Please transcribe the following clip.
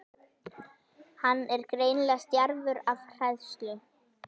Hann er greinilega stjarfur af hræðslu.